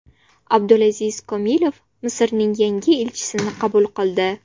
Abdulaziz Komilov Misrning yangi elchisini qabul qildi.